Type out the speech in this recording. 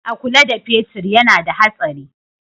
A kula da fetir yana da hatsari.